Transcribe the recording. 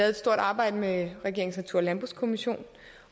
et stort arbejde med regeringens natur og landbrugskommission